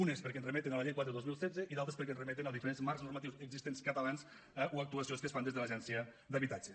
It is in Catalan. unes perquè ens remeten a la llei quatre dos mil setze i d’altres perquè ens remeten a diferents marcs normatius existents catalans eh o a actuacions que es fan des de l’agència d’habitatge